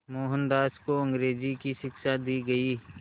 मोहनदास को अंग्रेज़ी की शिक्षा दी गई